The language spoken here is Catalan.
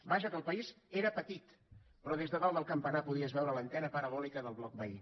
vaja que el país era petit però des de dalt del campanar podies veure l’antena parabòlica del bloc veí